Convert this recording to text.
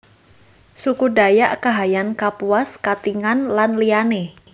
Suku Dayak Kahayan Kapuas Katingan lan liyané